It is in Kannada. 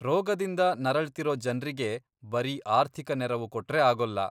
ರೋಗದಿಂದ ನರಳ್ತಿರೋ ಜನ್ರಿಗೆ ಬರೀ ಆರ್ಥಿಕ ನೆರವು ಕೊಟ್ರೆ ಆಗೋಲ್ಲ.